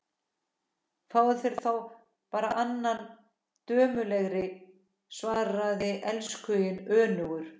Fáðu þér þá bara annan dömulegri, svaraði elskhuginn önugur.